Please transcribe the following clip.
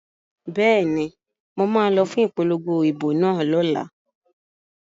Bẹ́ẹ̀ni, mo ma lọ fún ipolongo ìbò náà lọ́la